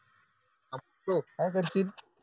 काय करशील